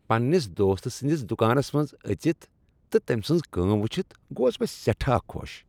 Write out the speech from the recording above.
پننِس دوستہٕ سٕندس دُکانس منٛز أژتھ تہٕ تمۍ سٕنز کٲم وٕچھتھ گوس بہ سیٹھاہ خۄش۔